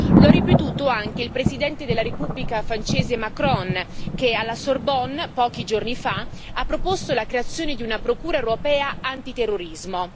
Lo ha ripetuto anche il Presidente della Repubblica francese, Macron, che alla Sorbonne, pochi giorni fa, ha proposto la creazione di una Procura europea antiterrorismo.